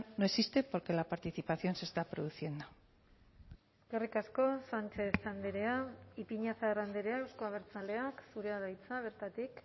no existe porque la participación se está produciendo eskerrik asko sánchez andrea ipiñazar andrea euzko abertzaleak zurea da hitza bertatik